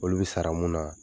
Olu bɛ sara mun na,